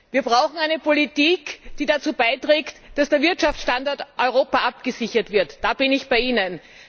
Wir brauchen eine Politik, die dazu beiträgt, dass der Wirtschaftsstandort Europa abgesichert wird da bin ich bei Ihnen.